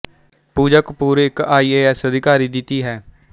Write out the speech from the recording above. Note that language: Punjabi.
ਪੂਜਾ ਕਪੂਰ ਇੱਕ ਆਈ ਏ ਐਸ ਅਧਿਕਾਰੀ ਦੀ ਧੀ ਹੈ